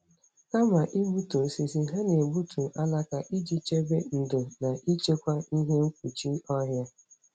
Kama igbutu osisi, ha na-egbutu alaka iji chebe ndò na ichekwa ihe mkpuchi ọhịa.